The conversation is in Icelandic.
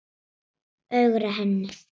Ögra henni.